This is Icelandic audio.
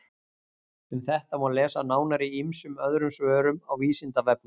Um þetta má lesa nánar í ýmsum öðrum svörum á Vísindavefnum.